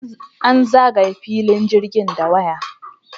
An zagaye filin jirgin da waya.